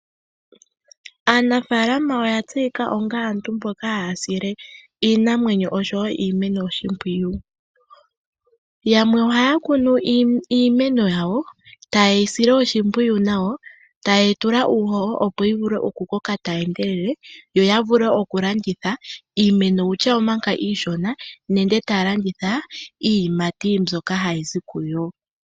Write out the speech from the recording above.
Aanafaalama oya tseyika onga aantu mboka haya sile iinamwenyo oshowo iimeno oshimpwiyu. Yamwe ohaya kunu iimeno yawo, taye yi sile oshimpyiyu nawa, taye yi tula uuhoho opo yi vule oku koka tayi endelele, yoya vule oku landitha iimeno manga iishona nenge taya landitha iiyimati mbyoka hayi zi kiimeno.